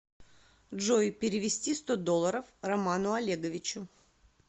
джой перевести сто долларов роману олеговичу